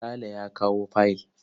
Sale ya kawo fayil.